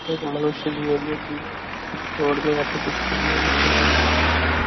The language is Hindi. एक मनुष्य भी है जो की